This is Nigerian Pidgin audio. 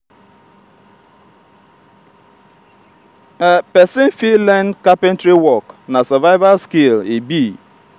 pesin fit learn carpentary work na survival skill e be.